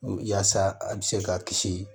Yaasa a bi se ka kisi